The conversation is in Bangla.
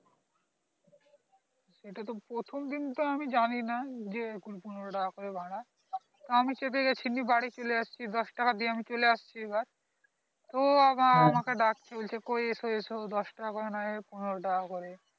এটা তো আমি প্রথম দিন আমি যানি না যে পনেরো টাকা করে ভাড়া আমি তা আমি চেপে গেছি বাড়ি চলে আসচ্ছি দশ টাকা দিয়ে আমি চলে আসচ্ছি এবার তো আবার আমাকে ডাকছে বলছে কোই এসো এসো দশ টাকা করে পনেরো টাকা করে